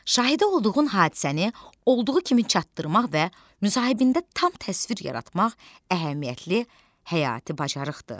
Şahidi olduğun hadisəni olduğu kimi çatdırmaq və müsahibində tam təsvir yaratmaq əhəmiyyətli həyati bacarıqdır.